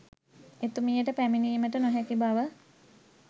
එතුමියට පැමිණීමට නොහැකි බව